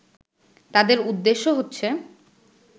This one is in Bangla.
তাদের উদ্দেশ্য হচ্ছে